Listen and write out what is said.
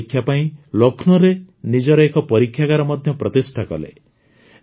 ମାନ ପରୀକ୍ଷା ପାଇଁ ଲକ୍ଷ୍ନୌରେ ନିଜର ଏକ ପରୀକ୍ଷାଗାର ମଧ୍ୟ ପ୍ରତିଷ୍ଠା କଲେ